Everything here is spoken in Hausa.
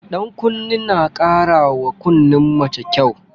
Ɗankunne na ƙara wa kunnen mace kyau.